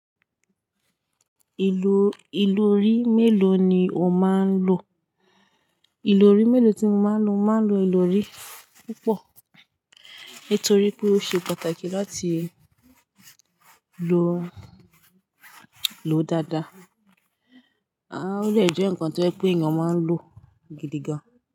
Ìlò ìlòrí mélòó ni o máa ń lò? Ìlòrí mélòó tí mo máa ń lò, màá ń lò ìlòrí púpọ̀ nitorí pé ó ṣe pàtàkì láti lò, lò dáadáa. Ó de jẹ́ nǹkan tó ń jẹ́ pé èèyàn máa ń lò gidi gan.